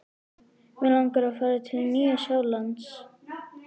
Mig langar að fara til Nýja-Sjálands.